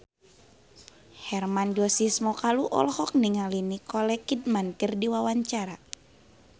Hermann Josis Mokalu olohok ningali Nicole Kidman keur diwawancara